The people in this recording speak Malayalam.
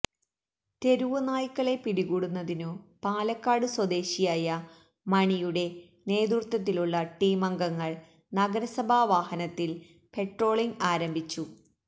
തെരുവുനായ്ക്കളെ പിടികൂടുന്നതിനു പാലക്കാട് സ്വദേശിയായ മണിയുടെ നേതൃത്വത്തിലുള്ള ടീമംഗങ്ങള് നഗരസഭാ വാഹനത്തില് പട്രോളിംഗ് ആരംഭിച്ചു